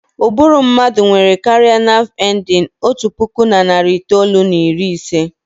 Ụbụrụ mmadụ nwere karịa naav endin otu puku na narị itoolu na iri ise.